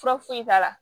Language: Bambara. Fura foyi t'a la